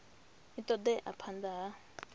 a ṱo ḓea phanḓa ha